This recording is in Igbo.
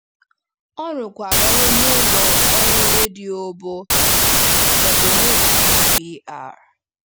Ọ rụkwara ọrụ n’ụlọ ọrụ redio bụ́ WBBR.